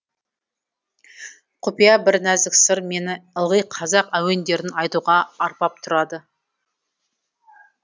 құпия бір нәзік сыр мені ылғи қазақ әуендерін айтуға арбап тұрады